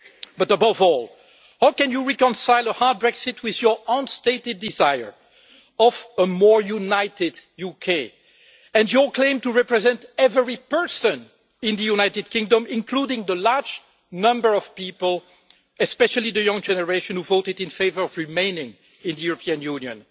But above all, how can you reconcile a hard Brexit with your own stated desire of a more united UK and our claim to represent every person in the United Kingdom, including the large number of people, especially the young generation who voted in favour of remaining in the European Union?